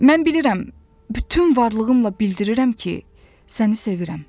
Mən bilirəm, bütün varlığımla bildirirəm ki, səni sevirəm.